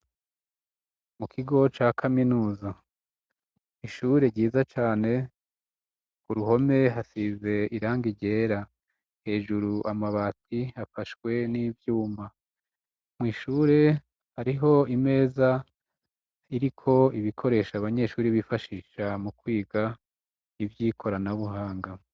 Mu kigo ca kaminuza, ishure ryiza cane ku ruhome hasize irangi ryera. Hejuru amabati afashwe n'ivyuma. Mw' ishure hariho imeza iriko ibikoresha abanyeshuri bifashisha mu kwiga ivy'ikoranabuhanga.